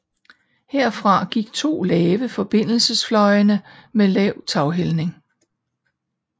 Herfra gik to lave forbindelsesfløjene med lav taghældning